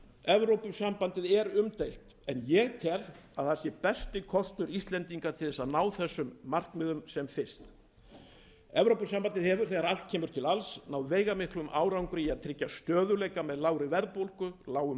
evrópusambandið er umdeilt en ég tel að það sé besti kostur íslendinga til að ná þessum markmiðum sem fyrst evrópusambandið hefur þegar allt kemur til alls náð veigamiklum árangri í að tryggja stöðugleika með lágri verðbólgu lágum